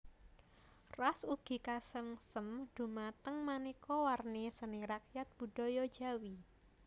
Ras ugi kasengsem dumateng manéka warna seni rakyat budaya Jawi